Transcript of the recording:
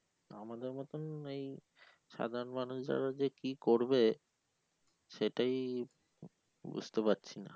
আমাদের মতন এই সাধারণ মানুষ যারা যে কি করবে সেটাই বুঝতে পারছি না